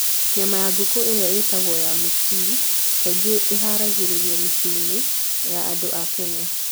Nyama ya ngũkũ ĩrĩa ĩĩtagwo "ya mũciĩ" kaingĩ ĩharagĩrio mĩciĩ-inĩ ya andũ a Kenya.